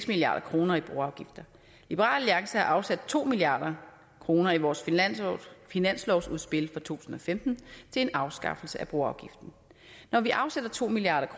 milliard kroner i broafgifter liberal alliance har afsat to milliard kroner i vores finanslovsudspil for to tusind og femten til en afskaffelse af broafgiften når vi afsætter to milliard